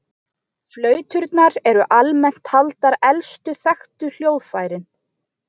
Flauturnar eru almennt taldar elstu þekktu hljóðfærin.